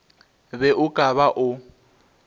be o ka ba o